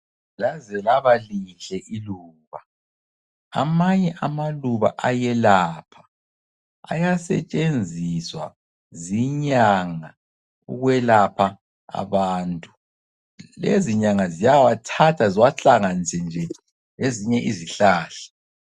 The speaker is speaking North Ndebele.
Laze labalihle iluba. Amanye amaluba ayelapha. Ayasetshenziswa zinyanga ukwelapha abantu. Lezinyanga ziyawathatha ziwahlanganise nje lezinye izihlahla.